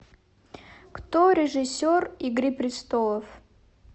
кто режиссер игры престолов